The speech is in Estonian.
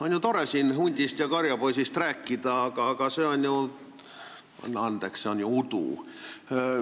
On ju tore siin hundist ja karjapoisist rääkida, aga see on, anna andeks, udu.